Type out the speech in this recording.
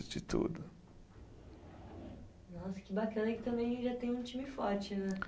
De tudo. Nossa, que bacana que também já tem um time forte, né?